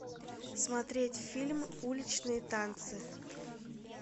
смотреть фильм уличные танцы